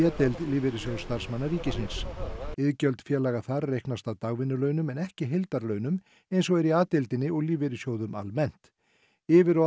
deild Lífeyrissjóðs starfsmanna ríkisins iðgjöld félaga þar reiknast af dagvinnulaunum en ekki heildarlaunum eins og er í a deildinni og lífeyrissjóðum almennt yfir og